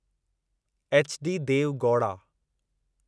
HD Deve Gowda